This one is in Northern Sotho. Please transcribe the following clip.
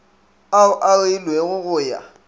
ao a reilwego go ya